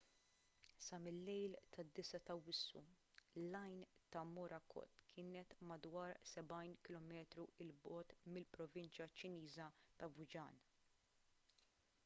sa mil-lejl tad-9 ta' awwissu l-għajn ta' morakot kienet madwar sebgħin kilometru l bogħod mill-provinċja ċiniża ta' fujian